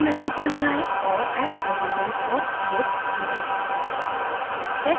build menu पर जाएँ और add hydrogens for ph चुनें